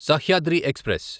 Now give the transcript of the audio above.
Sahyadri express